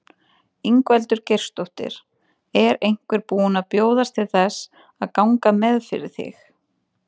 Ingveldur Geirsdóttir: Er einhver búin að bjóðast til þess að ganga með fyrir þig?